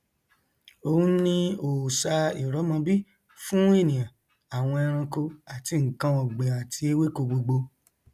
òun ni òòṣà ìrọmọbí fún ènìà àwọn ẹranko àti nkan ọgbìn àti ewéko gbogbo